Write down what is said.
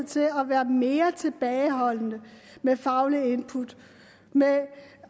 til at være mere tilbageholdende med faglige input